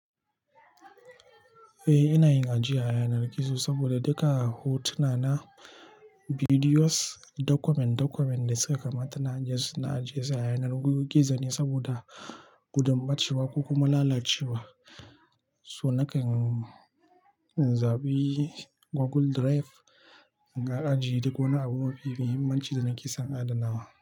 Eh, ina yin ajiya a yanar gizo saboda duka hotuna na, bidiyos, document document da suka kamata ina ajiye, ina ajiye su a yanar gizo ne saboda gudun ɓacewa ko kuma lalacewa. So nakan in zaɓi Google Drive in ga ajiye duk wani abu mafi muhimmanci da nake son adanawa.